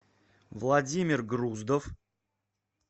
владимир груздов